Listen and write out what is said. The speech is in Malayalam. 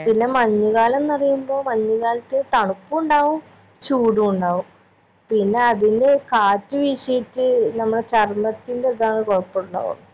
പിന്നെ മഞ്ഞ് കാലം ന്ന് പറീമ്പോ മഞ്ഞ് കാലത്ത് തണുപ്പുണ്ടാവും ചൂടുണ്ടാവും പിന്നെ അതിന്റെ കാറ്റ് വിഷീട്ട് നമ്മളെ ചരമത്തിന്റെ ഇതാണ് കൊഴപാണ്ടാവാ